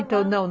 Então, não.